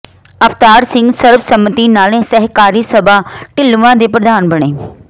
ਅਵਤਾਰ ਸਿੰਘ ਸਰਬਸੰਮਤੀ ਨਾਲ ਸਹਿਕਾਰੀ ਸਭਾ ਢਿੱਲਵਾਂ ਦੇ ਪ੍ਰਧਾਨ ਬਣੇ